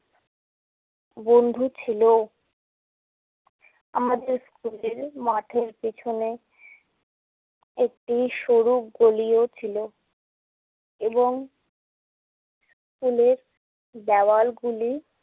বন্ধু ছিল ও। আমাদের স্কুলের মাঠের পেছনে একটি সরু গলিও ছিলো এবং স্কুলের দেওয়ালগুলি